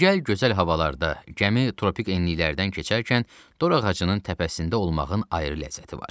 Digər gözəl havalarda gəmi tropik enliklərdən keçərkən dorağacının təpəsində olmağın ayrı ləzzəti var.